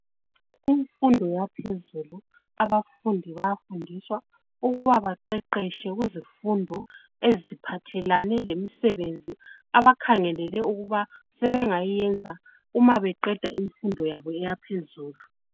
Kumfundo yaphezulu, abafundi bayafundiswa ukuba baqeqeshe kuzifondo eziphathelane lemisebenzi abakhangelele ukuba sebengayenza uma beqeda imfundo yabo eyaphezulu.